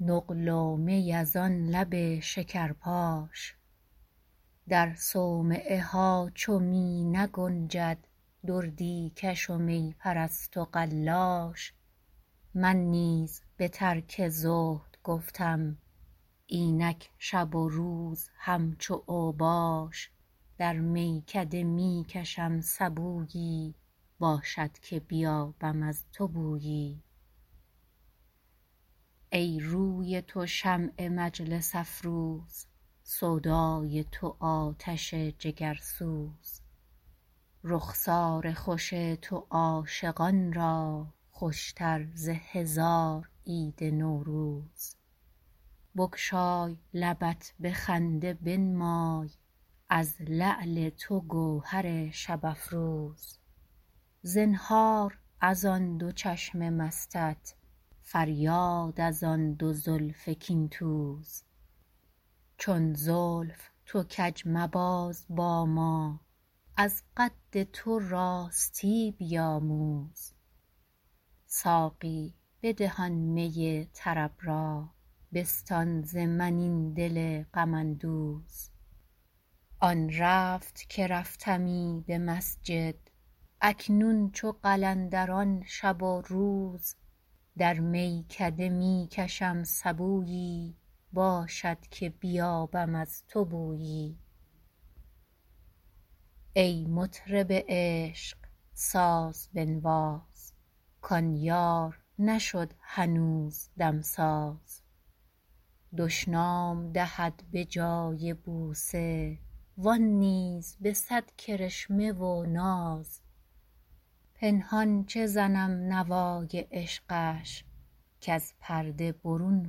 نقل و می از آن لب شکرپاش در صومعه ها چو می نگنجد دردی کش و می پرست و قلاش من نیز به ترک زهد گفتم اینک شب و روز همچو اوباش در میکده می کشم سبویی باشد که بیابم از تو بویی ای روی تو شمع مجلس افروز سودای تو آتش جگرسوز رخسار خوش تو عاشقان را خوش تر ز هزار عید نوروز بگشای لبت به خنده بنمای از لعل تو گوهر شب افروز زنهار از آن دو چشم مستت فریاد از آن دو زلف کین توز چون زلف تو کج مباز با ما از قد تو راستی بیاموز ساقی بده آن می طرب را بستان ز من این دل غم اندوز آن رفت که رفتمی به مسجد اکنون چو قلندران شب و روز در میکده می کشم سبویی باشد که بیابم از تو بویی ای مطرب عشق ساز بنواز کان یار نشد هنوز دمساز دشنام دهد به جای بوسه و آن نیز به صد کرشمه و ناز پنهان چه زنم نوای عشقش کز پرده برون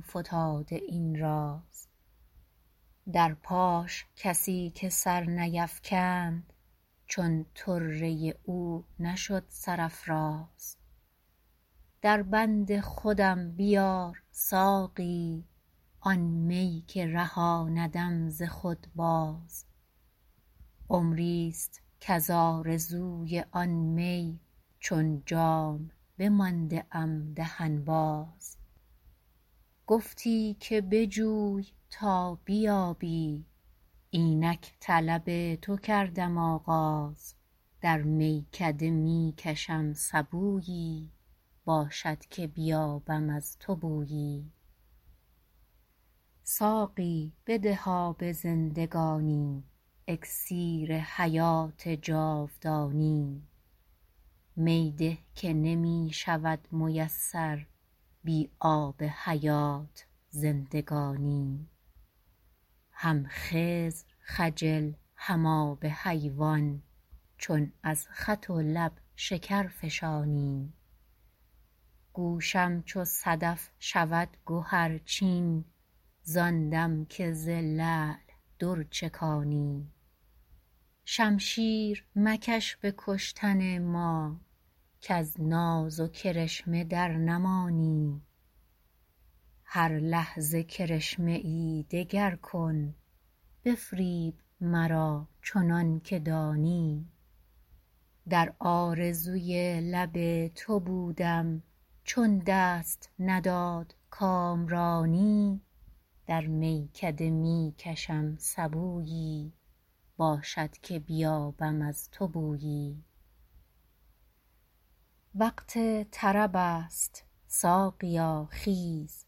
فتاده این راز در پاش کسی که سر نیفکند چون طره او نشد سرافراز در بند خودم بیار ساقی آن می که رهاندم ز خود باز عمری است کز آرزوی آن می چون جام بمانده ام دهن باز گفتی که بجوی تا بیابی اینک طلب تو کردم آغاز در میکده می کشم سبویی باشد که بیابم از تو بویی ساقی بده آب زندگانی اکسیر حیات جاودانی می ده که نمی شود میسر بی آب حیات زندگانی هم خضر خجل هم آب حیوان چون از خط و لب شکرفشانی گوشم چو صدف شود گهرچین زان دم که ز لعل در چکانی شمشیر مکش به کشتن ما کز ناز و کرشمه در نمانی هر لحظه کرشمه ای دگر کن بفریب مرا چنان که دانی در آرزوی لب تو بودم چون دست نداد کامرانی در میکده می کشم سبویی باشد که بیابم از تو بویی وقت طرب است ساقیا خیز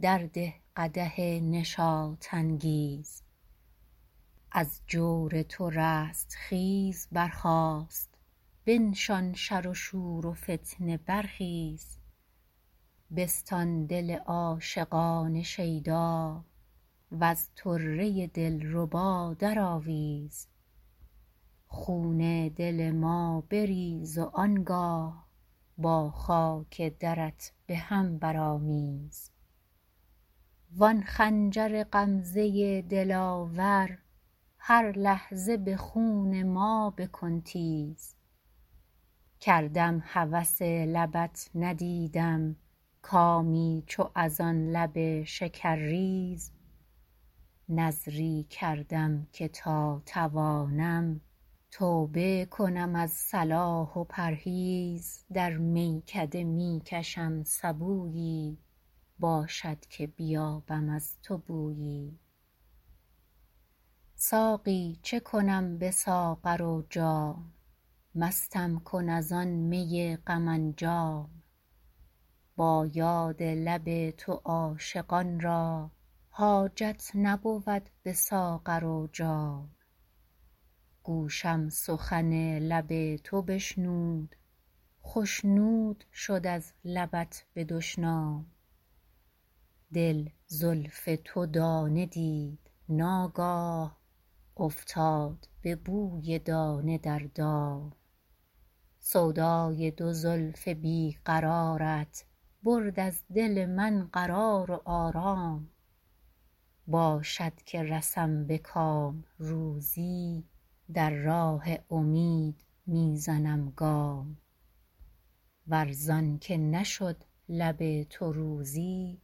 در ده قدح نشاط انگیز از جور تو رستخیز برخاست بنشان شر و شور و فتنه برخیز بستان دل عاشقان شیدا وز طره دلربا درآویز خون دل ما بریز و آنگاه با خاک درت بهم برآمیز وآن خنجر غمزه دلاور هر لحظه به خون ما بکن تیز کردم هوس لبت ندیدم کامی چو از آن لب شکرریز نذری کردم که تا توانم توبه کنم از صلاح و پرهیز در میکده می کشم سبویی باشد که بیابم از تو بویی ساقی چه کنم به ساغر و جام مستم کن از این می غم انجام با یاد لب تو عاشقان را حاجت نبود به ساغر و جام گوشم سخن لب تو بشنود خشنود شد از لبت به دشنام دل زلف تو دانه دید ناگاه افتاد به بوی دانه در دام سودای دو زلف بی قرارت برد از دل من قرار و آرام باشد که رسم به کام روزی در راه امید می زنم گام ور زان که نشد لب تو روزی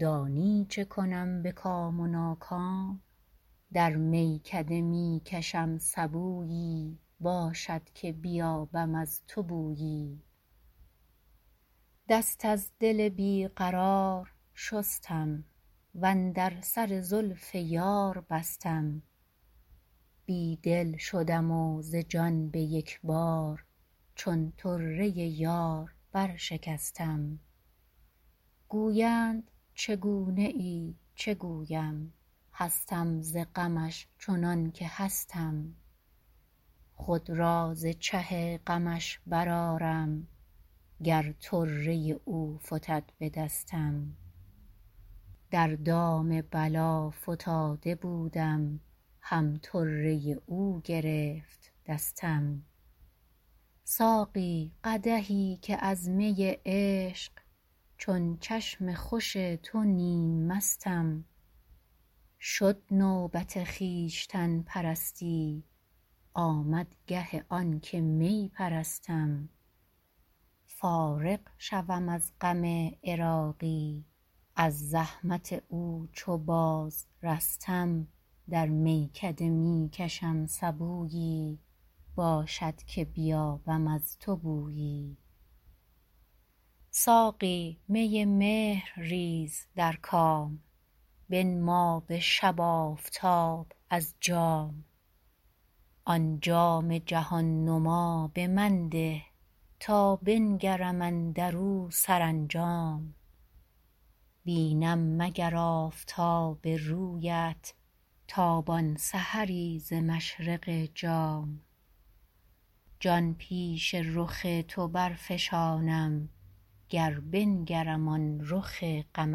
دانی چه کنم به کام و ناکام در میکده می کشم سبویی باشد که بیابم از تو بویی دست از دل بی قرار شستم و اندر سر زلف یار بستم بی دل شدم و ز جان به یک بار چون طره یار برشکستم گویند چگونه ای چه گویم هستم ز غمش چنان که هستم خود را ز چه غمش برآرم گر طره او فتد به دستم در دام بلا فتاده بودم هم طره او گرفت دستم ساقی قدحی که از می عشق چون چشم خوش تو نیم مستم شد نوبت خویشتن پرستی آمد گه آن که می پرستم فارغ شوم از غم عراقی از زحمت او چو باز رستم در میکده می کشم سبویی باشد که بیابم از تو بویی ساقی می مهر ریز در کام بنما به شب آفتاب از جام آن جام جهان نما به من ده تا بنگرم اندرو سرانجام بینم مگر آفتاب رویت تابان سحری ز مشرق جام جان پیش رخ تو برفشانم گر بنگرم آن رخ غم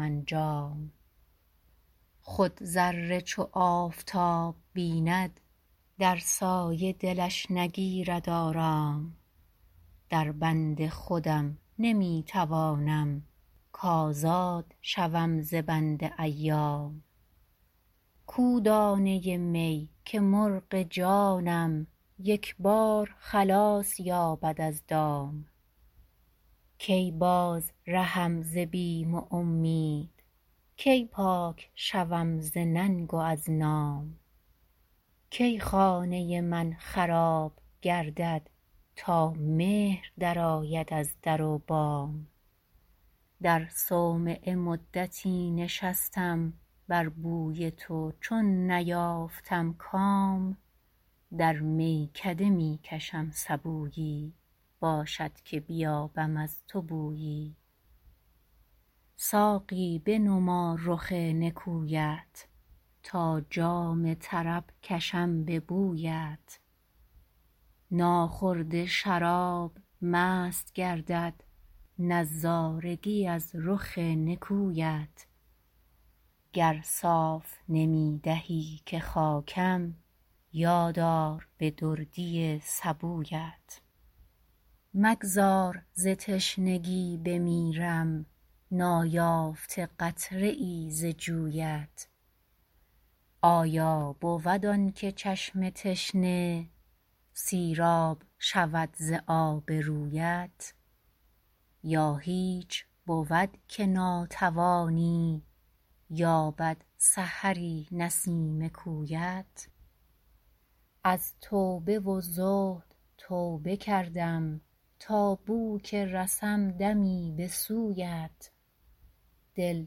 انجام خود ذره چو آفتاب بیند در سایه دلش نگیرد آرام در بند خودم نمی توانم کازاد شوم ز بند ایام کو دانه می که مرغ جانم یک بار خلاص یابد از دام کی بازرهم ز بیم و امید کی پاک شوم ز ننگ و از نام کی خانه من خراب گردد تا مهر درآید از در و بام در صومعه مدتی نشستم بر بوی تو چون نیافتم کام در میکده می کشم سبویی باشد که بیابم از تو بویی ساقی بنما رخ نکویت تا جام طرب کشم به بویت ناخورده شراب مست گردد نظارگی از رخ نکویت گر صاف نمی دهی که خاکم یاد آر به دردی سبویت مگذار ز تشنگی بمیرم نایافته قطره ای ز جویت آیا بود آن که چشم تشنه سیراب شود ز آب رویت یا هیچ بود که ناتوانی یابد سحری نسیم کویت از توبه و زهد توبه کردم تا بو که رسم دمی به سویت دل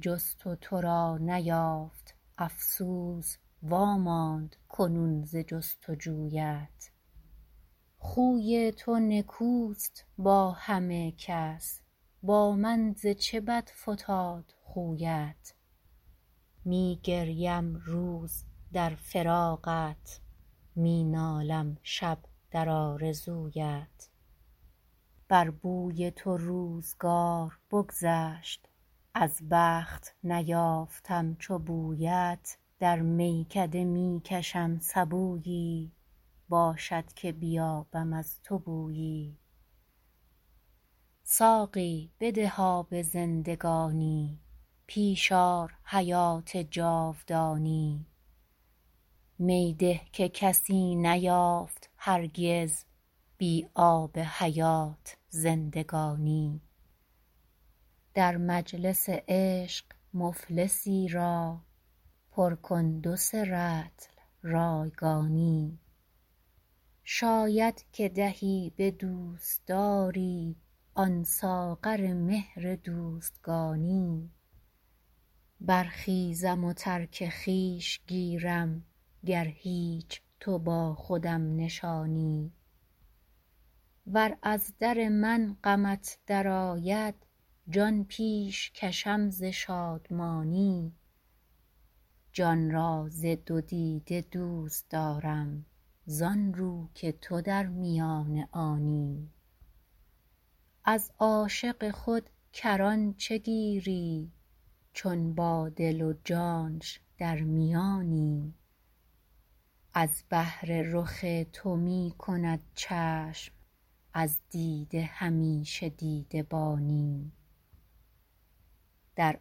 جست و تو را نیافت افسوس واماند کنون ز جست و جویت خوی تو نکوست با همه کس با من ز چه بد فتاد خویت می گریم روز در فراقت می نالم شب در آرزویت بر بوی تو روزگار بگذشت از بخت نیافتم چو بویت در میکده می کشم سبویی باشد که بیابم از تو بویی ساقی بده آب زندگانی پیش آر حیات جاودانی می ده که کسی نیافت هرگز بی آب حیات زندگانی در مجلس عشق مفلسی را پر کن دو سه رطل رایگانی شاید که دهی به دوستداری آن ساغر مهر دوستگانی برخیزم و ترک خویش گیرم گر هیچ تو با خودم نشانی ور از غم من غمت درآید جان پیش کشم ز شادمانی جان را ز دو دیده دوست دارم زان رو که تو در میان آنی از عاشق خود کران چه گیری چون با دل و جانش در میانی از بهر رخ تو می کند چشم از دیده همیشه دیده بانی در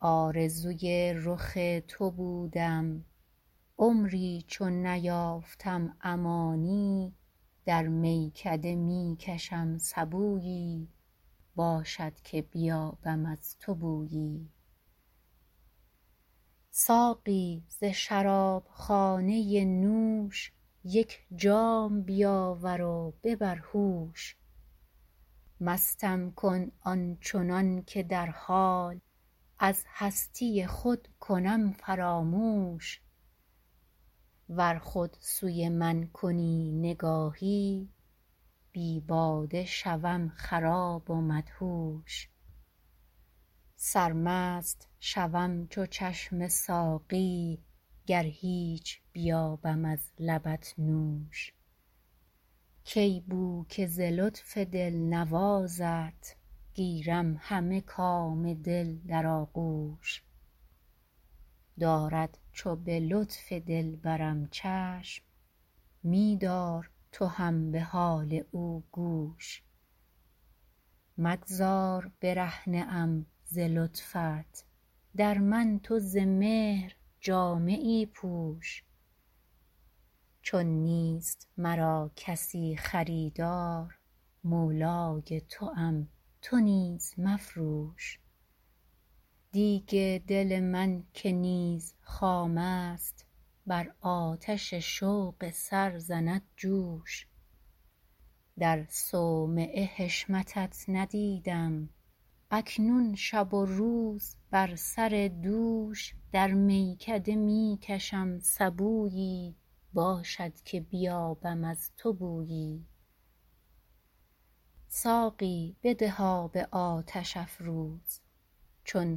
آرزوی رخ تو بودم عمری چو نیافتم امانی در میکده می کشم سبویی باشد که بیابم از تو بویی ساقی ز شراب خانه نوش یک جام بیاور و ببر هوش مستم کن آن چنان که در حال از هستی خود کنم فراموش ور خود سوی من کنی نگاهی بی باده شوم خراب و مدهوش سرمست شوم چو چشم ساقی گر هیچ بیابم از لبت نوش کی بد که ز لطف دلنوازت گیرم همه کام دل در آغوش دارد چو به لطف دلبرم چشم می دار تو هم به حال او گوش مگذار برهنه ام ز لطفت در من تو ز مهر جامه ای پوش چون نیست مرا کسی خریدار مولای توام تو نیز مفروش دیگ دل من که نیز خام است بر آتش شوق سر زند جوش در صومعه حشمتت ندیدم اکنون شب و روز بر سر دوش در میکده می کشم سبویی باشد که بیابم از تو بویی ساقی بده آب آتش افروز چون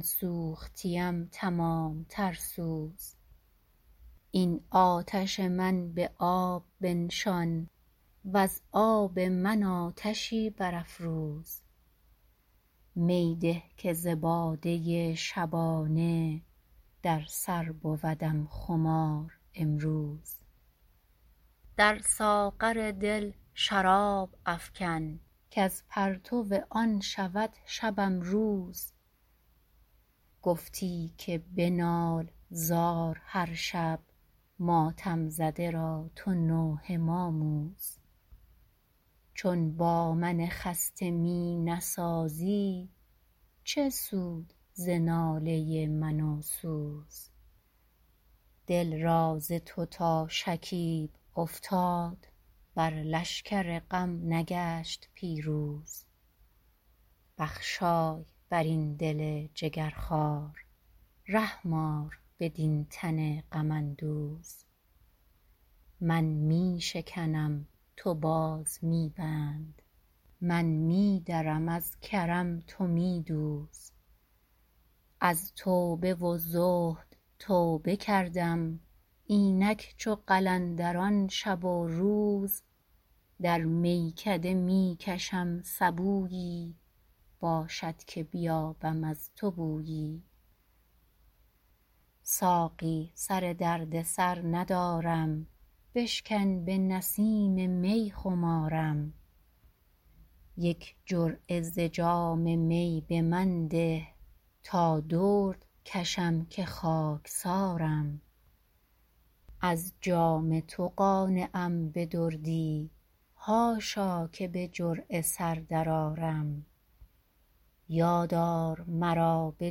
سوختیم تمام تر سوز این آتش من به آب بنشان وز آب من آتشی برافروز می ده که ز باده شبانه در سر بودم خمار امروز در ساغر دل شراب افکن کز پرتو آن شود شبم روز گفتی که بنال زار هر شب ماتم زده را تو نوحه ماموز چون با من خسته می نسازی چه سود ز ناله من و سوز دل را ز تو تا شکیب افتاد بر لشکر غم نگشت پیروز بخشای بر این دل جگرخوار رحم آر بدین تن غم اندوز من می شکنم تو باز می بند من می درم از کرم تو می دوز از توبه و زهد توبه کردم اینک چو قلندران شب و روز در میکده می کشم سبویی باشد که بیابم از تو بویی ساقی سر دردسر ندارم بشکن به نسیم می خمارم یک جرعه ز جام می به من ده تا درد کشم که خاکسارم از جام تو قانعم به دردی حاشا که به جرعه سر درآرم یادآر مرا به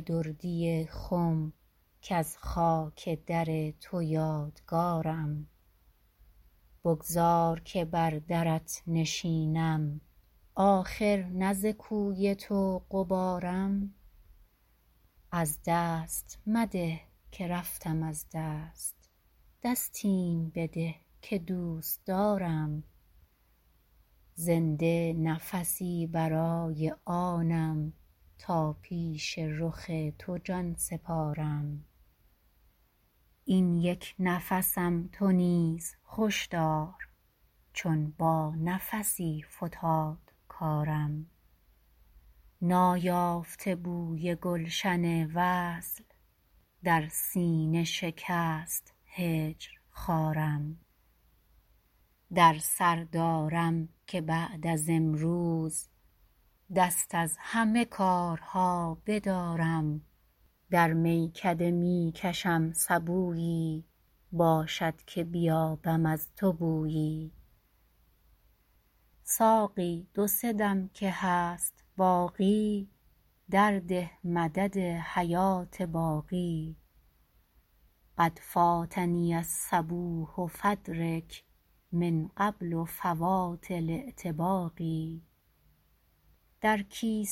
دردی خم کز خاک در تو یادگارم بگذار که بر درت نشینم آخر نه ز کوی تو غبارم از دست مده که رفتم از دست دستیم بده که دوستدارم زنده نفسی برای آنم تا پیش رخ تو جان سپارم این یک نفسم تو نیز خوش دار چون با نفسی فتاد کارم نایافته بوی گلشن وصل در سینه شکست هجر خارم در سر دارم که بعد از امروز دست از همه کارها بدارم در میکده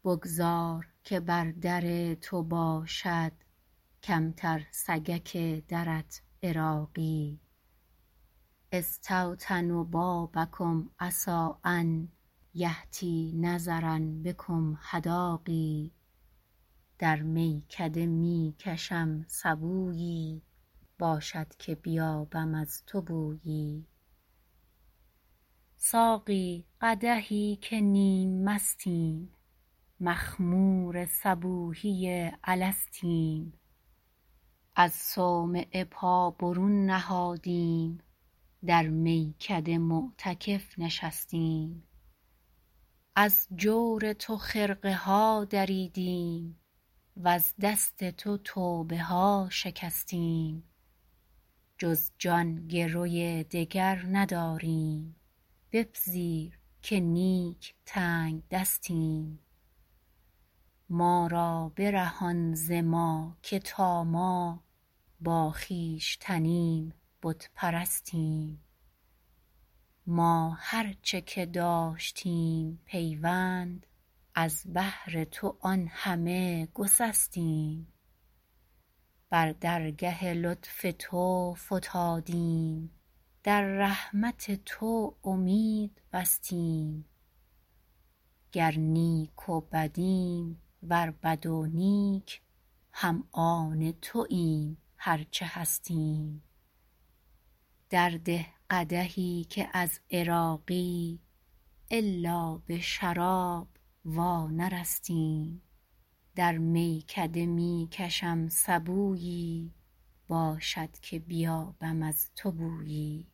می کشم سبویی باشد که بیابم از تو بویی ساقی دو سه دم که هست باقی در ده مدد حیات باقی قد فاتنی الصبوح فادرک من قبل فوات الاغتباق در کیسه نقد نیست جز جان بستان قدحی بیار ساقی کم أصبر قد صبرت حتیٰ روحی بلغت إلی التراقى دردا که به خیره عمر بگذشت نابوده میان ما تلاقی فاستعذب مسمعی حدیثا مذ طاب بذکرکم مذاقى من زان توام تو هم مرا باش خوش باش به عشق اتفاقی أشتاق إلی لقاک فانظر لی وجهک نظرة الإلاق بگذار که بر در تو باشد کمتر سگک درت عراقی أستوطن بابکم عسیٰ أن یحظیٰ نظرا بکم حداقى در میکده می کشم سبویی باشد که بیابم از تو بویی ساقی قدحی که نیم مستیم مخمور صبوحی الستیم از صومعه پا برون نهادیم در میکده معتکف نشستیم از جور تو خرقه ها دریدیم وز دست تو توبه ها شکستیم جز جان گروی دگر نداریم بپذیر که نیک تنگ دستیم ما را برهان ز ما که تا ما با خویشتنیم بت پرستیم ما هرچه که داشتیم پیوند از بهر تو آن همه گسستیم بر درگه لطف تو فتادیم در رحمت تو امید بستیم گر نیک و بدیم ور بد و نیک هم آن توایم هر چه هستیم در ده قدحی که از عراقی الا به شراب وا نرستیم در میکده می کشم سبویی باشد که بیابم از تو بویی